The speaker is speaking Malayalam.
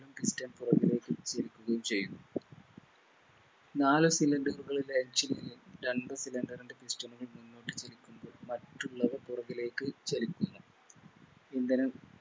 Piston പുറകിലേക്ക് ചലിക്കുകയും ചെയ്യുന്നു നാല് Cylinder കളുടെ Engine നിന്നും രണ്ട് Cylinder ൻറെ Piston കൾ മുന്നോട്ട് വലിക്കുമ്പോൾ മറ്റുള്ളവ പുറകിലേക്ക് ചലിക്കുന്നു ഇന്ധന